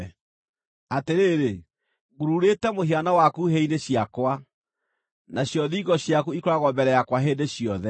Atĩrĩrĩ, ngururĩte mũhiano waku hĩ-inĩ ciakwa, nacio thingo ciaku ikoragwo mbere yakwa hĩndĩ ciothe.